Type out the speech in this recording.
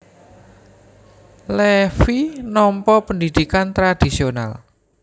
Levi nampa pendhidhikan tradhisional